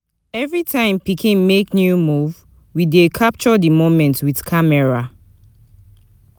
Every time pikin make new move, we dey capture di moment with camera.